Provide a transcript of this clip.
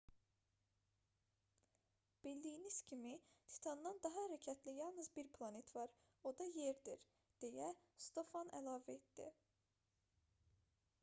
bildiyimiz kimi titandan daha hərəkətli yalnız bir planet var o da yerdir deyə stofan əlavə etdi